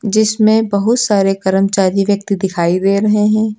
जिसमें बहुत सारे कर्मचारी व्यक्ति दिखाई दे रहे हैं।